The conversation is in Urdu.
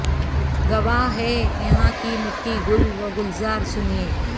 گواہ ہے یہاں کی مٹی گل و گلزار سنئے